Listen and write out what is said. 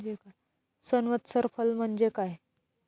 संवत्सर फल म्हणजे काय?